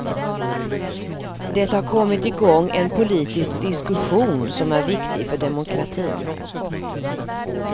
Det har kommit igång en politisk diskussion som är viktig för demokratin.